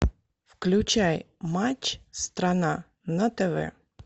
включай матч страна на тв